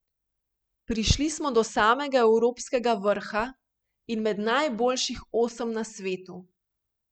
Prišli pa smo do samega evropskega vrha in med najboljših osem na svetu.